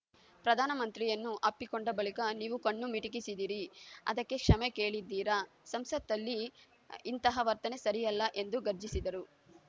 ಪ್ರಧಾನ ಮಂತ್ರಿಯನ್ನು ಅಪ್ಪಿಕೊಂಡ ಬಳಿಕ ನೀವು ಕಣ್ಣು ಮಿಟಿಕಿಸಿದಿರಿ ಅದಕ್ಕೆ ಕ್ಷಮೆ ಕೇಳಿದ್ದೀರಾ ಸಂಸತ್ತಲ್ಲಿ ಇಂತಹ ವರ್ತನೆ ಸರಿಯಲ್ಲ ಎಂದು ಗರ್ಜಿಸಿದರು